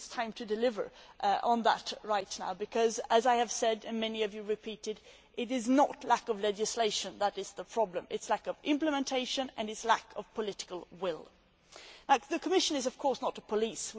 I think it is time to deliver on that right now because, as I have said and many of you have repeated, it is not lack of legislation that is the problem it is lack of implementation and it is lack of political will. The Commission is of course not the police.